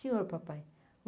Senhor, papai.